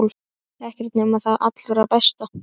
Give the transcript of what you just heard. Ekkert nema það allra besta.